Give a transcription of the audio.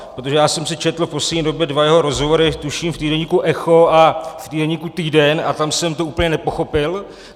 Protože já jsem si četl v poslední době dva jeho rozhovory tuším v týdeníku Echo a v týdeníku Týden a tam jsem to úplně nepochopil.